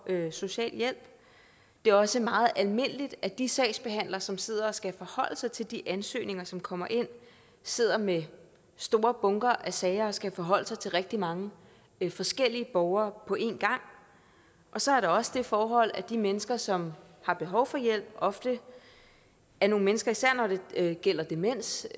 social hjælp det er også meget almindeligt at de sagsbehandlere som sidder og skal forholde sig til de ansøgninger som kommer ind sidder med store bunker af sager og skal forholde sig til rigtig mange forskellige borgere på én gang og så er der også det forhold at de mennesker som har behov for hjælp ofte er nogle mennesker især når det gælder demens